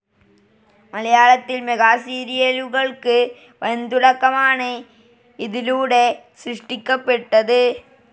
മലയാളത്തിൽ മെഗാസീരിയലുകൾക്ക് വൻതുടക്കമാണ് ഇതിലൂടെ സൃഷ്ടിക്കപ്പെട്ടത്.